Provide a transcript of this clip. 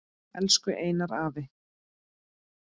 Elsku Einar afi.